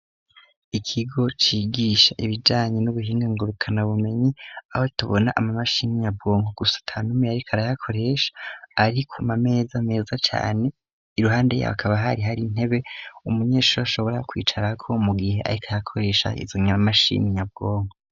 Ikigo cigisha ibijanye n'ubuhinga ngurukana bumenyi, aho tubona ama mashini nyabwonko, gusa ata numwe yariko arayakoresha, ari ku ma meza meza cane, iruhande y'abo hakaba hari hari intebe umunyeshure ashobora kwicarako mu gihe ariko arakoresha izo mashini nyabwonko.